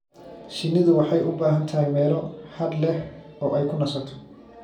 Shinnidu waxay u baahan tahay meelo hadh leh oo ay ku nasato.